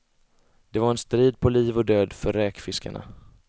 Det var en strid på liv och död för räkfiskarna.